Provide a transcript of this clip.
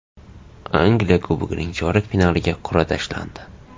Angliya Kubogining chorak finaliga qur’a tashlandi.